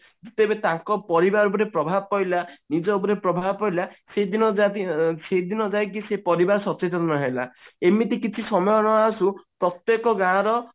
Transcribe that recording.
ତେବେ ତାଙ୍କ ପରିବାର ଉପରେ ପ୍ରଭାବ ପଡିଲା ନିଜ ଉପରେ ପ୍ରଭାବ ପଡିଲା ସେଇଦିନ ଯାଇକି ସେ ପରିବାର ସଚେତନ ହେଲା ଏମିତି କିଛି ସମୟ ନ ଆସୁ ପ୍ରତ୍ଯେକ ଗାଁ ର